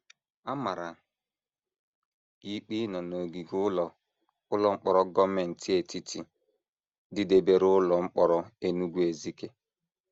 A mara ya ikpe ịnọ n’ogige ụlọ ụlọ mkpọrọ gọọmenti etiti dịdebere ụlọ mkpọrọ Enugu-Ezike.